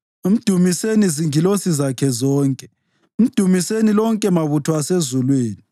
Mdumiseni zingilosi zakhe zonke, mdumiseni lonke mabutho asezulwini.